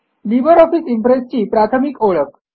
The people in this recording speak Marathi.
लिबर ऑफिस इम्प्रेस ची प्राथमिक ओळख